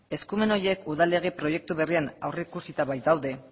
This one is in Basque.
eskumen horiek udal lege proiektu berrian aurreikusita baitaude